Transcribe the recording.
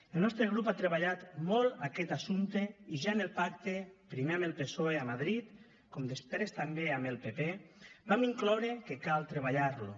el nostre grup ha treballat molt aquest assumpte i ja en el pacte primer amb el psoe a madrid com després també amb el pp vam incloure que cal treballar lo